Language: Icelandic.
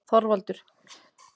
ÞORVALDUR: Morðingjann á Flateyri.